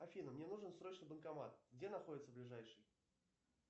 афина мне нужен срочно банкомат где находится ближайший